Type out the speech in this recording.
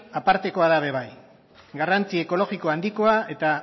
apartekoa da ere bai garrantzi ekologiko handikoa eta